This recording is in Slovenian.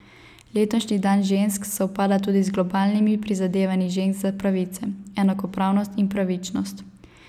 Letošnji dan žensk sovpada tudi z globalnimi prizadevanji žensk za pravice, enakopravnost in pravičnost.